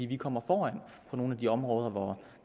vi kommer foran på nogle af de områder hvor